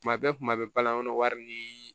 Tuma bɛɛ kuma bɛɛ balanin kɔnɔ wari ni